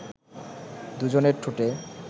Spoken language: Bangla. দু’জনের ঠোঁটে